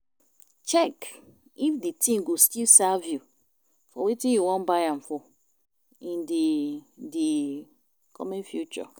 Check if di thing go still serve you for wetin you wan buy am for in di di coming future